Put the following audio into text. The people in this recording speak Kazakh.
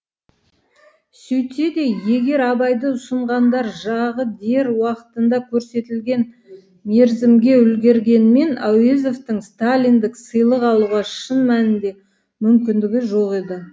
сөйтсе де егер абайды ұсынғандар жағы дер уақытында көрсетілген мерзімге үлгергенмен әуезовтің сталиндік сыйлық алуға шын мәнінде мүмкіндігі жоқ еді